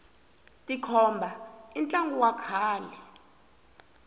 tikhomba i ntlangu wa kahle